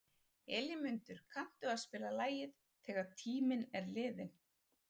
Elínmundur, kanntu að spila lagið „Þegar tíminn er liðinn“?